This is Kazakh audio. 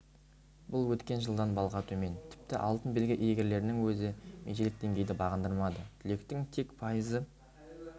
бұл өткен жылдан балға төмен тіпті алтын белгі иегерлерінің өзі межелік деңгейді бағындырмады түлектің тек пайызы